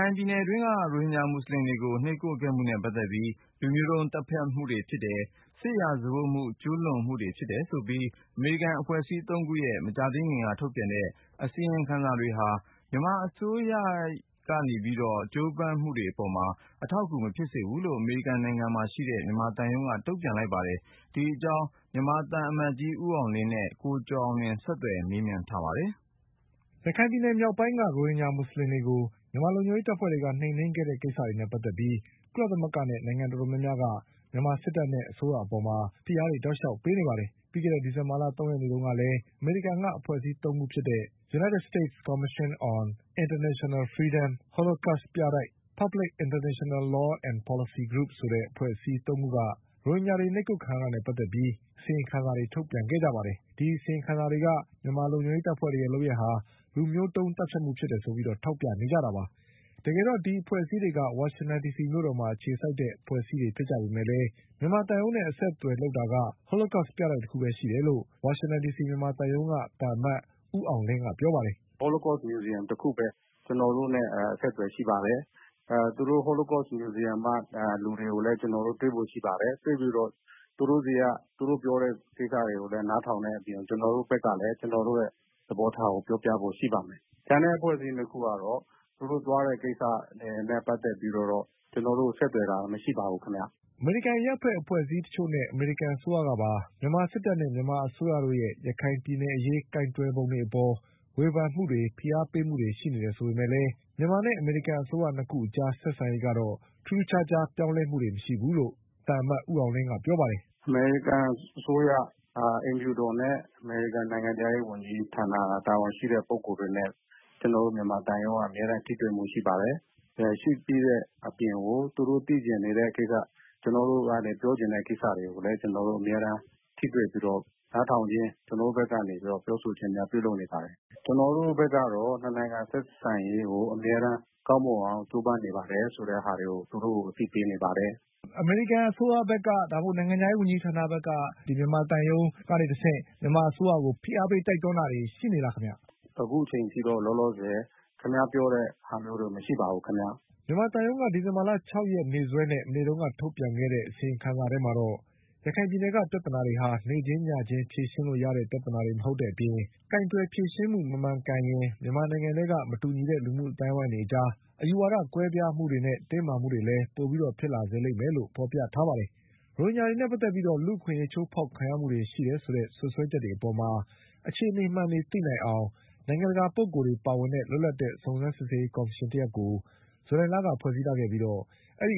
ိုင်ပြည်နယ်အတွင်းက ရိုဟင်ဂျာမူဆလင်တွေကိုနှိပ်ကွပ်ခဲ့မှုနဲ့ပတ်သက်ပြီး လူမျိုးတုံး သတ်ဖြတ်မှုတွေဖြစ်တယ်၊ စစ် မက်ဆိုင်ရာပစ်မှုကျူးလွန်မှုတွေဖြစ်တယ်ဆိုပြီး အမေရိကန်အဖွဲ့အစည်းသုံးခုရဲ့ မကြာခင်က ထုတ်ပြန်ခဲ့အစီရင်ခံစာတွေ ဟာ မြန်မာအစိုးရရဲ့ ရခိုင်ပြည်နယ်အရေးကြိုးပမ်းနေမှုတွေအပေါ် အထောက်အကူမဖြစ်စေဘူးလို့ အမေရိကန်နိုင်ငံမှာရှိတဲ့မြန်မာသံရုံးကတုံ့ ပြန်လိုက်ပါတယ်။ ဒီအကြောင်း မြန်မာသံအမတ်ကြီးဦးအောင်လင်းနဲ့ ကိုကျော်အောင်လွင်ကဆက်သွယ်မေးမြန်းထား ပါတယ်။ ရခိုင်ပြည်နယ်မြောက်ပိုင်းက ရိုဟင်ဂျာမူဆလင်တွေကို မြန်မာလုံခြုံရေးတပ်ဖွဲ့တွေက နှိမ်နင်းခဲ့တဲ့ကိစ္စတွေနဲ့ပတ်သက်ပြီး ကုလသမဂ္ဂနဲ့နိုင်ငံတော်တော်များများက မြန်မာစစ်တပ်နဲ့အစိုးရအပေါ်မှာ ဖိအားတွေတောက်လျှောက်ပေးနေပါတယ်။ ပြီးခဲ့တဲ့ဒီဇင်ဘာ လ၃ရက်နေ့တုန်းကလည်း အမေရိကန်က အဖွဲ့အစည်းသုံးခုဖြစ်တဲ့ United States Commission on Internaional Freedom, Holocaust Museum,နဲ့ Public International Law and Policy Group ဆိုတဲ့အဖွဲ့အစည်း သုံးခုက ရိုဟင်ဂျာတွေနှိပ်ကွပ်ခံရတာနဲ့ပတ်သက်လို့ အစီရင်ခံစာတွေထုတ်ပြန်ခဲ့ကြပါတယ်။ အစီရင်ခံစာတွေက မြန်မာ လုံခြုံရေးတပ်ဖွဲ့တွေရဲ့လုပ်ရပ်ဟာ လူမျိုးတုံး သတ်ဖြတ်မှုဖြစ်တယ်ဆိုပြီးထောက်ပြနေကြတာပါ။ တကယ်တော့ဒီအဖွဲ့ အစည်းတွေက ဝါရှင်တန်ဒီစီမြို့တော်မှာအခြေစိုက်တဲ့အဖွဲ့အစည်းတွေဖြစ်ကြပေမဲ့ မြန်မာသံရုံးနဲ့အဆက်အသွယ်လုပ် တာက Holocaust ပြတိုက်တခုပဲရှိတယ်လို့ ဝါရှင်တန်ဒီစီမြန်မာသံရုံးက သံအမတ်ကြီး ဦးအောင်လင်းက ပြောပါတယ်။ "Holocaust Museum တခုပဲ ကျနော်တို့နဲ့ အဆက်အသွယ်ရှိပါတယ်။ သူတို့ Holocaust Museum က လူတွေကိုလည်း ကျနော်တို့ တွေ့ဖို့ရှိပါတယ်။တွေ့ပြီးတော့ သူတို့ပြောတာတွေကို နားထောင်တဲ့အပြင် ကျနော်တို့ ဘက်ကလည်း ကျနော်တို့ သဘောထားကို ပြောပြဖို့ ရှိပါမယ်။ ကျန်အဖွဲ့အစည်း ၂ ခုကတော့ သူတို့သွားတဲ့ ကိစ္စ တွေနဲ့ ပတ်သက်ပြီးတော့ ကျနော်တို့ကို ဆက်သွယ်တာ မရှိပါဘူးခင်ဗျ။" အမေရိကန်အရပ်ဖက်အဖွဲ့အစည်းတချို့နဲ့အမေရိကန်အစိုးရကပါ မြန်မာစစ်တပ်နဲ့မြန်မာအစိုးရရဲ့ရခိုင်ပြည်နယ် အရေးကိုင်တွယ်ပုံတွေအပေါ် ဝေဖန်မှုတွေဖိအားပေးမှုတွေရှိနေပေမဲ့လည်း မြန်မာနဲ့အမေရိကန်အစိုးရအကြားဆက်ဆံ ရေးကတော့ ထူးထူးခြားခြားပြောင်းလဲမှုမရှိဘူးလို့လည်း သံအမတ်ကြီး ဦးအောင်လင်းကပြောပါတယ်။ "အမေရိကန်အစိုးရ အိမ်ဖြူတော်နဲ့ အမေရိကန် နိုင်ငံခြားရေးဝန်ကြီး ဌာနက တာဝန်ရှိတဲ့ ပုဂ္ဂိုလ်တွေနဲ့ ကျနော်တို့မြန်မာသံရုံးက အမြဲတမ်းထိတွေ့မှုရှိပါတယ်။ ရှိပြီးတဲ့အပြင်ကို သူတို့ သိချင်နေတဲ့ကိစ္စ ကျနော်တို့က ပြောချင်တဲ့ကိစ္စတွေကိုလည်း ကျနော်တို့ထိတွေ့ပြီးတော့ နားထောင်ခြင်း ၊ ကျနော်တို့ဘက်ကနေပြီးတော့ ပြောဆိုချင်းများပြုလုပ်နေပါတယ်။ ကျနော်တို့ဘက်ကတော့ ၂ နိုင်ငံ ဆက်ဆံရေးကို အမြဲတမ်းကောင်းမွန်အောင် ကြိုးပမ်းနေပါတယ်ဆိုတာကို သူတို့ကို အမြဲအသိပေးနေပါတယ်။ မေး။ ။ အမေရိကန်အစိုးရဘက်က ဒါမှမဟုတ် နိုင်ငံခြားရေးဝန်ကြီးဌာနဘက်က မြန်မာသံရုံးကနေတဆင့် မြန်မာအစိုးရကို ဖိအားပေး တိုက်တွန်းတာတွေရှိနေသလားခင်ဗျ။ ဖြေ။ ။ အခုအချိန်အထိတော့ လောလောဆည် ခင်ဗျားပြောတဲ့အထိတော့မရှိပါဘူး။" မြန်မာသံရုံးက ဒီဇင်ဘာလ၆ရက်နေ့စွဲနဲ့ မနေ့ကထုတ်ပြန်တဲ့အစီရင်ခံစာထဲမှာတော့ ရခိုင်ပြည်နယ်ကပြဿနာတွေဟာ နေ့ချင်းညချင်းဖြေရှင်းလို့ရတဲ့ပြဿနာ တွေမဟုတ်တဲ့အပြင် ကိုင်တွယ်ဖြေရှင်းမှု မမှန်ရင် မြန်မာနိုင်ငံထဲက မတူညီတဲ့လူမှုအသိုင်းအဝိုင်းတွေအကြား အယူဝါဒ ကွဲပြားမှုတွေနဲ့ တင်းမာမှုတွေလည်းပိုပြီးဖြစ်လာစေလိမ့်မယ်လို့ဖေါ်ပြထားပါတယ်။ ရိုဟင်ဂျာတွေနဲ့ပတ်သက်ပြီးလူ့အခွင့် အရေးချိုးဖေါက်ခံရမှုတွေရှိတယ်ဆိုတဲ့ စွပ်စွဲချက်တွေအပေါ် အခြေအနေမှန်တွေသိနိုင်အောင် နိုင်ငံတကာပုဂ္ဂိုလ်တွေပါ တဲ့ လွတ်လပ်တဲ့စုံစမ်းစစ်ဆေးရေးကော်မရှင်ကို ဇူလိုင်လကဖွဲ့စည်းခဲ့ပြီး ဒီ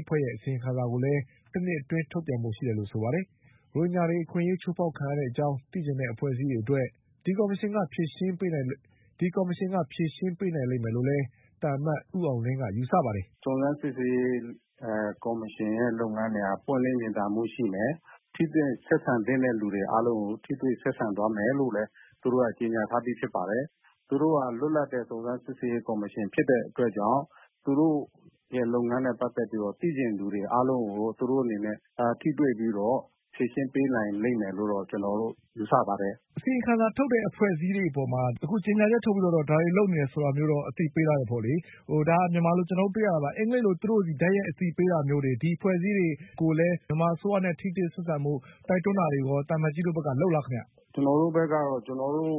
အဖွဲ့ရဲ့အစီရင်ခံစာကိုလည်း တနှစ်အတွင်း ထုတ်ပြန်ဖို့ရှိတယ်လို့ဆိုပါတယ်။ ရိုဟင်ဂျာတွေအခွင့်အရေးချိုးဖေါက်ခံရတဲ့အကြောင်းသိချင်တဲ့အဖွဲ့အစည်းတွေအတွက် ဒီကော်မရှင်ကဖြေရှင်းပေးနိုင်လိမ်မယ်လို့လည်း သံအမတ်ကြီး ဦးအောင်လင်းက ယူဆပါတယ်။ "စုံစမ်းစစ်ဆေးရေးကော်မရှင်လုပ်ငန်းတွေက ပွင့်လင်းမြင်သာမှုရှိမယ်။ ထိတွေ့ဆက်ဆံသင့်တဲ့လူတွေအားလုံးကို ထိတွေ့ဆက်ဆံသွားမယ်လို့ သူတို့က ကြေညာထားပြီးဖြစ်ပါတယ်။ သူတို့က လွတ်လပ်တဲ့ စုံစမ်းစစ်ဆေးရေးကော်မရှင်ဖြစ်တဲ့အတွက်ကြောင့် သူတို့လုပ်ငန်းနဲ့ ပတ်သက်ပြီးတော့ သိချင်သူတွေအားလုံးကို သူတို့အနေနဲ့ ထိတွေ့ပြီးတော့ ဖြေရှင်းပေးနိုင်လိမ့်မယ်လို့ ကျနော်တို့ ယူဆပါတယ်။ မေး။ ။ အစီရင်ခံစာထုတ်တဲ့အဖွဲ့အစည်းတွေအပေါ်မှာ အခုကြေညာချက်ထုတ်ပြီးတော့ ဒါတွေလုပ်နေတယ် အသိပေးထားတယ်ပေါ့လေ၊ ဒါကမြန်မာလိုကျနော်တို့တွေ့ရတာပါ၊ အင်္ဂလိပ်လို သူတို့ဆီတိုက်ရိုက်အသိပေးတာမျိုးတွေ ဒီအဖွဲ့တွေကိုလည်း မြန်မာအစိုးရနဲ့ ထိတွေ့ဆက်ဆံဖို့ တိုက်တွန်းတာတွေကိုရော သံအမတ်ကြီးတို့လုပ်လားခင်ဗျ။ ဖြေ။ ။ ကျနော်တို့ဘက်ကတော့ ကျနော်တို့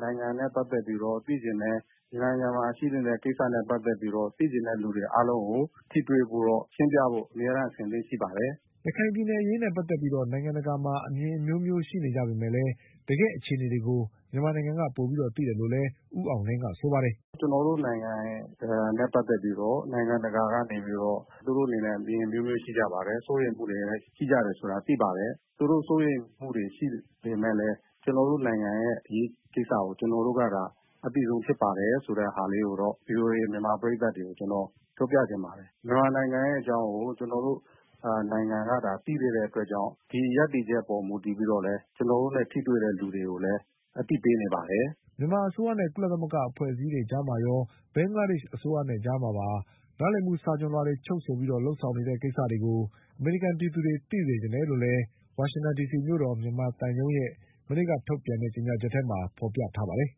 နိုင်ငံနဲ့ ပတ်သက်ပြီးတော့ သိချင်တယ်။ မြန်မာနိုင်ငံမှာရှိတဲ့ကိစ္စနဲ့ ပတ်သက်ပြီးတော့ သိချင်တဲ့လူတွေအားလုံးကို ထိတွေ့ရှင်းပြဖို့ အမြဲတမ်းအဆင်သင့်ရှိပါတယ်။" ရခိုင်ပြည်နယ်အရေးနဲ့ ပတ်သက်ပြီးနိုင်ငံတကာမှာအမြင်အမျိုးမျိုးရှိနေပေမဲ့ တကယ့်အခြေအနေတွေကို မြန်မာနိုင်ငံကပိုပြီးသိတယ်လို့လည်း ဦးအောင်လင်းကဆိုပါတယ်။ "ကျနော်တို့နိုင်ငံနဲ့ ပတ်သက်ပြီးတော့ နိုင်ငံတကာကနေ သူတို့အနေနဲ့ အမြင်အမျိုးမျိုးရှိကြပါတယ်။ စိုးရိမ်မှုတွေလည်း ရှိကြတယ်ဆိုတာ သိပါတယ်။ သူတို့စိုးရိမ်မှုတွေရှိပေမယ့်လည်း ကျနော်တို့နိုင်ငံအရေးကိစ္စကို ကျနော်တို့ကသာ အသိဆုံးဖြစ်ပါတယ်ဆိုတာလေးကို VOA မြန်မာပရိတ်သတ်တွေကို ကျနေ်ာ်ပြောပြချင်ပါတယ်။ မြန်မာနိုင်ငံရဲ့အကြောင်းကို ကျနော်တို့ နိုင်ငံကသာ သိသေးတဲ့အတွက်ကြောင့် ဒီရပ်တည်ချက်အပေါ်မူတည်ပြီးတော့ ကျနော်တို့နဲ့ ထိတွေ့တဲ့လူတွေကိုလည်း အသိပေးနေပါတယ်။" မြန်မာအစိုးရနဲ့ကုလသမဂ္ဂအဖွဲ့အစည်းတွေအကြားမှာရောဘင်္ဂလားဒေ့ရှ်အစိုးရ အကြားမှာပါ နားလည်မှုစာချွန်လွှာတွေချုပ်ဆိုပြီးလုပ်ဆောင်မယ့်ကိစ္စတွေကို အမေရိကန်ပြည်သူတွေသိစေချင်တယ် လို့လည်း ဝါရှင်တန်ဒီစီမြို့တော် မြန်မာသံရုံးရဲ့ မနေ့ကထုတ်ပြန်တဲ့ကြေညာချက်ထဲမှာဖေါ်ပြထားပါတယ်